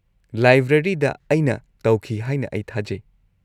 -ꯂꯥꯏꯕ꯭ꯔꯦꯔꯤꯗ; ꯑꯩꯅ ꯇꯧꯈꯤ ꯍꯥꯏꯅ ꯑꯩ ꯊꯥꯖꯩ ꯫